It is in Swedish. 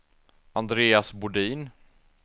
Andreas Bodin